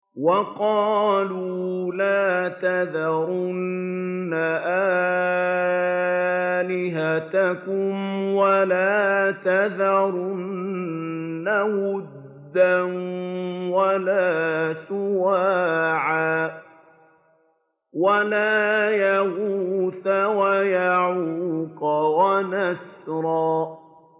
وَقَالُوا لَا تَذَرُنَّ آلِهَتَكُمْ وَلَا تَذَرُنَّ وَدًّا وَلَا سُوَاعًا وَلَا يَغُوثَ وَيَعُوقَ وَنَسْرًا